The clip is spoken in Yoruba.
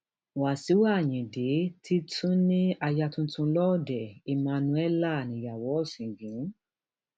wàṣíù ayíǹde ti tún ní aya tuntun lọọdẹ emmanuella níyàwó ọsìngín